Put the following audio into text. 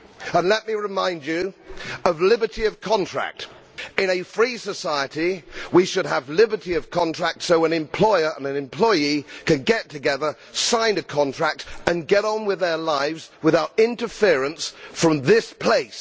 And let me remind you of liberty of contract. In a free society, we should have liberty of contract so that an employer and an employee can get together, sign a contract and get on with their lives without interference from this place.